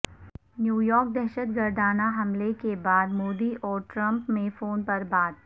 New York دہشت گردانہ حملے کے بعد مودی اور ٹرمپ میں فون پربات